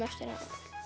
hana